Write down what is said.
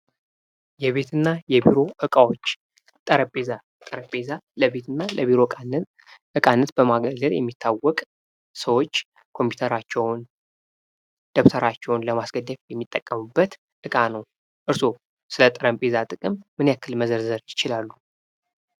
የቤትና የቢሮ እቃዎች ፦ ጠረጴዛ ፦ ጠረጴዛ ለቤትና ለቢሮ ዕቃነት በማገልገል የሚታወቅ ፣ ሰዎች ኮምፒተራቸውን ፣ ደብተራቸውን ለማስደገፍ የሚጠቀሙበት እቃ ነው ። እርሶ ስለ ጠረጴዛ ጥቅም ምን ያክል መዘርዝር ይችላሉ ?